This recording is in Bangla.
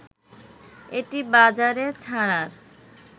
এটি বাজারে ছাড়ার